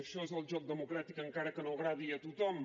això és el joc democràtic encara que no agradi a tothom